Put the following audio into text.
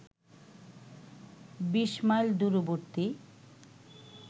বিশ মাইল দূরবর্তী